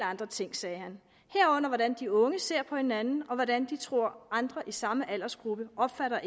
andre ting sagde han herunder hvordan de unge ser på hinanden og hvordan de tror andre i samme aldersgruppe opfatter